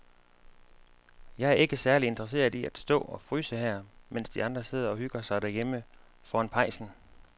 Jeg er ikke særlig interesseret i at stå og fryse her, mens de andre sidder og hygger sig derhjemme foran pejsen.